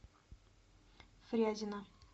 фрязино